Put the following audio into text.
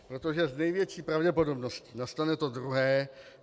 Protože s největší pravděpodobností nastane to druhé.